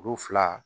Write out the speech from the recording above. Olu fila